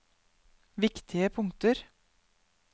viktige punkter